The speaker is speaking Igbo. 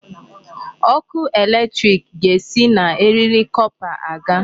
Ọkụ electric ga-esi na eriri copper aga.